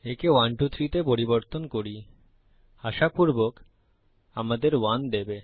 একে 123 তে পরিবর্তন করি আশাপুর্বক আমাদের 1 দেবে